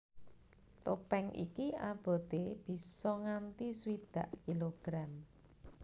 Topèng iki aboté bisa nganti swidak kilogram